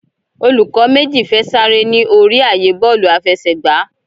Olùkó méjì fè Sare ní orí ààyè Bọ́ọ̀lù àfẹsẹ̀gbá.